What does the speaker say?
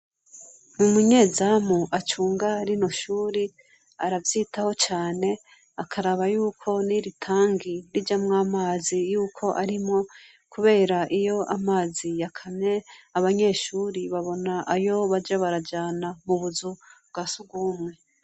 Umunyezamu acunga rinoshure aravyitaho cane akaraba yuko n'iritangi rijamwo amazi yuko arimwo kubera iyamazi yakamye abanyeshure babona ayo baja barajana m'ubuzu bwasugwumwe.